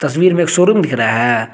ज़मीन में एक शोरूम दिख रहा है।